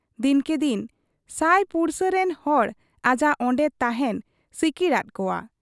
ᱫᱤᱱᱠᱮ ᱫᱤᱱ ᱥᱟᱹᱭ ᱯᱩᱲᱥᱟᱹ ᱨᱤᱱ ᱦᱚᱲ ᱟᱡᱟᱜ ᱚᱱᱰᱮ ᱛᱟᱦᱮᱸᱱ ᱥᱤᱠᱤᱲᱟᱫ ᱠᱚᱣᱟ ᱾